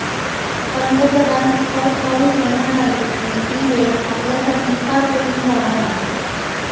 पंतप्रधान Scott Morrison म्हणाले की ही वेळ आपल्यासाठी फार कठीण जाणार आहे